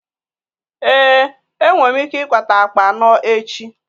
Ee, enwe m ike ịkpata akpa anọ echi.